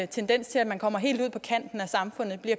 tendens til at man kommer helt ud på kanten af samfundet